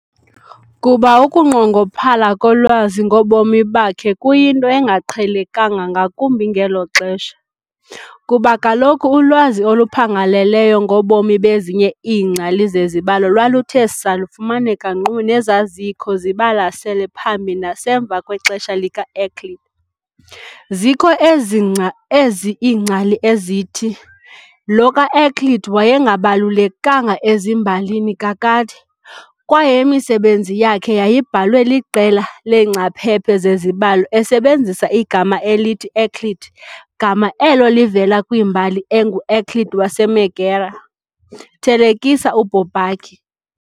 Kuba ukunqongophala kolwazi ngobomi bakhe kuyinto engaqhelekanga ngakumbi ngelo xesha, kuba kaloku ulwazi oluphangaleleyo ngobomi bezinye iingcali zezibalo lwaluthe saa lufumaneka nkqu nezazikho zibalasele phambi nasemva kwexesha likaEuclid, zikho ezi iingcali ezithi lo kaEuclid wayengabalulekanga ezimbalini kakade, kwaye imisebenzi yakhe yayibhalwe liqela leengcaphephe zezibalo esebenzisa igama elithi Euclid gama elo livela kwimbali engoEuclid waseMegara, thelekisa uBourbaki.